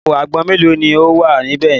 Àpò àgbọn mélòó ni ó wà níbẹ̀ yẹn?